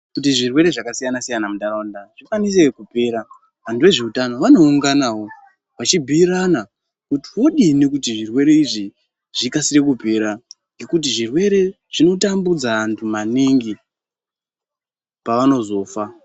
Kuti zvirwere zvakasiyana-siyana muntaraunda zvikwanise kupera vantu vezveutano vanounganawo vachibhuirana kuti vodini kuti zvirwere izvi zvikasire kupera. Ngekuti zvirwere izvi zvinotambudza vantu maningi pavanozofa.